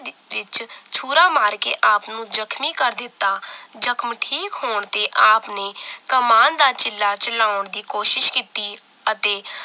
ਵਿਚ ਛੁਰਾ ਮਾਰ ਕੇ ਆਪ ਨੂੰ ਜਖਮੀ ਕਰ ਦਿੱਤਾ ਜਖਮ ਠੀਕ ਹੋਣ ਤੇ ਆਪ ਨੇ ਕਮਾਨ ਦਾ ਚਿੱਲਾ ਚਲਾਉਣ ਦੀ ਕੋਸ਼ਿਸ਼ ਕੀਤੀ ਅਤੇ